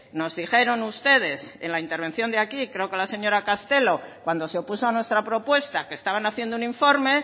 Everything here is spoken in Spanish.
nos dijeron ustedes en la intervención de aquí creo que la señora castelo cuando se opuso a nuestra propuesta que estaban haciendo un informe